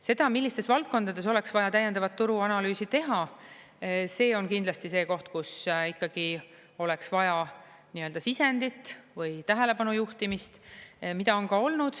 Seda, millistes valdkondades oleks vaja täiendavat turuanalüüsi teha, see on kindlasti see koht, kus ikkagi oleks vaja nii-öelda sisendit või tähelepanu juhtimist, mida on ka olnud.